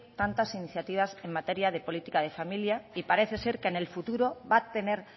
tantas iniciativas en materia de política familia y parece ser que en el futuro va a tener